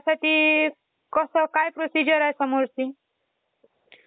ह्याचा शोध साधारणतः दोन हजार वर्षांपूर्वी लागला आहे.